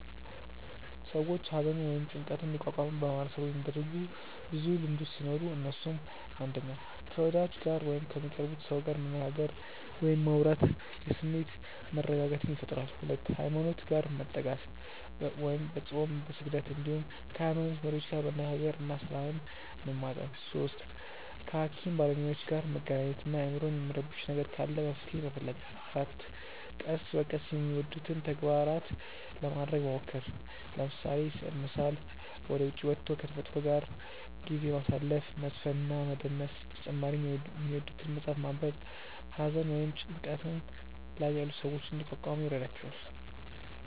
ሰዎች ሃዘንን ወይም ጭንቀትን እንዲቋቋሙ በማህበረሰቡ የሚደረጉ ብዙ ልምዶቹ ሲኖሩ እነሱም፣ 1. ከ ወዳጅ ጋር ወይም ከሚቀርቡት ሰው ጋር መነጋገር ወይም ማውራት የስሜት መረጋጋትን ይፈጥራል 2. ሃይማኖት ጋር መጠጋት፦ በፆም፣ በስግደት እንዲሁም ከ ሃይሞኖት መሪዎች ጋር መነጋገር እና ሰላምን መማፀን 3. ከ ሃኪም ባለሞያዎች ጋር መገናኘት እና አይምሮን የሚረብሽ ነገር ካለ መፍትሔ መፈለግ 4. ቀስ በቀስ የሚወዱትን ተግባራት ለማረግ መሞከር፤ ለምሳሌ፦ ስዕል መሳል፣ ወደ ዉጪ ወቶ ከ ተፈጥሮ ጋር ጊዜ ማሳለፍ፣ መዝፈን እና መደነስ በተጨማሪ የሚወዱትን መፅሐፍ ማንበብ ሃዘን ወይም ጭንቀት ላይ ያሉ ሰዎችን እንዲቋቋሙ ይረዷቸዋል።